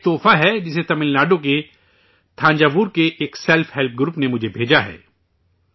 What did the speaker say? ایک تحفہ ہے، جسے تمل ناڈو کے تھنجاور کے ایک سیلفہیلپ گروپ نے مجھے بھیجا ہے